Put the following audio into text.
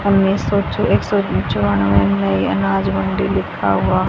अनाज मंडी लिखा हुआ--